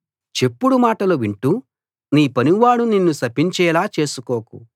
చెప్పుడు మాటలు వింటూ నీ పనివాడు నిన్ను శపించేలా చేసుకోకు